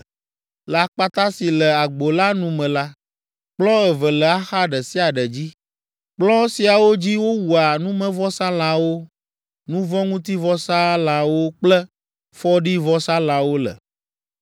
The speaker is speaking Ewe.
Le akpata si le agbo la nu me la, kplɔ̃ eve le axa ɖe sia ɖe dzi. Kplɔ̃ siawo dzi wowua numevɔsalãwo, nu vɔ̃ ŋuti vɔsalãwo kple fɔɖivɔsalãwo le.